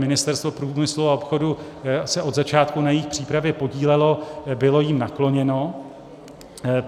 Ministerstvo průmyslu a obchodu se od začátku na jejich přípravě podílelo, bylo jim nakloněno.